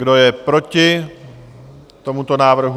Kdo je proti tomuto návrhu?